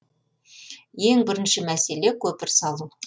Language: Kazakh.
ең бірінші мәселе көпір салу